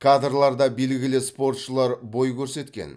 кадрларда белгілі спортшылар бой көрсеткен